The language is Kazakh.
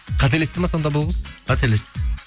қателесті ме сонда бұл қыз қателесті